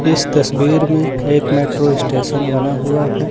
इस तस्वीर में एक मेट्रो स्टेशन बना हुआ है।